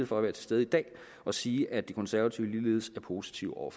for at være til stede i dag og sige at de konservative ligeledes er positive over